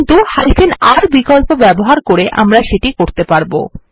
কিন্তু R বিকল্প ব্যবহার করে আমরা এটা করতে পারব